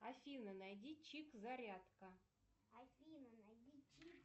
афина найди чип зарядка